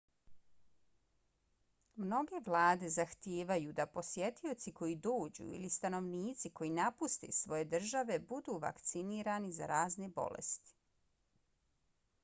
mnoge vlade zahtijevaju da posjetioci koji dođu ili stanovnici koji napuste svoje države budu vakcinirani za razne bolesti